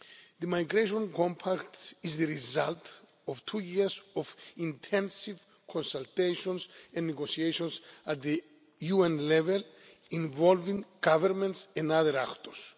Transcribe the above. The Migration Compact is the result of two years of intensive consultations and negotiations at the UN level, involving governments and other actors.